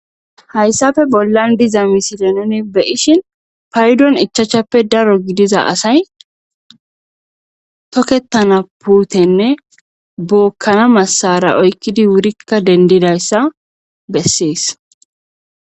hayssappe bollan diza misile none beyishin paydon ichachappe daro gidiza asay tokettana puutenne bookkana massara oykkidi wurikka dendidayssa bessees